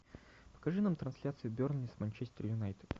покажи нам трансляцию бернли с манчестер юнайтед